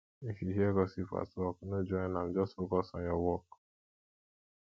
if you hear gossip at work no join am just focus on your work